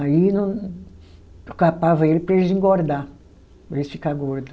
Aí não. Capava eles para eles engordar, para eles ficar gordo.